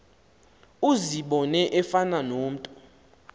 uzibone efana nomntu